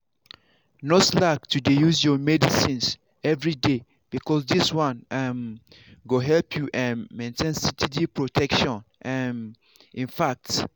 no slack to dey use your medicines everyday because this one um go help you um maintain steady protection um infact.